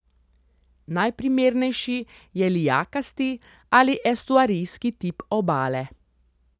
Najprimernejši je lijakasti ali estuarijski tip obale.